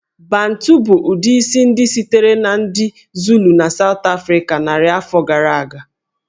Bantu bụ ụdị isi ndị sitere na ndị Zulu na South Africa narị afọ gara aga